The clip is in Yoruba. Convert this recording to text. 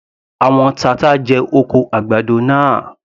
Àwọn tata jẹ oko àgbàdo náà.